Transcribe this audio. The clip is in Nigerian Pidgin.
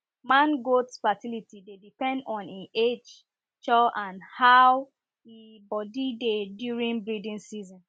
man goats fertility dey depend on e age chow and and how e body dey during breeding season